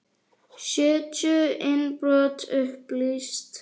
Sjötíu innbrot upplýst